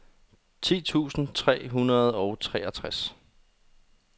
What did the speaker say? ti tusind tre hundrede og treogtres